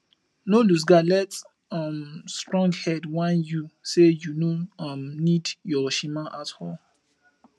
no losegard let um stronghead whine yu say yu no um nid yur shima at all